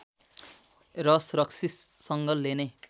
रस रक्सीसँग लेने